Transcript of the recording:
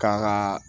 K'a kaa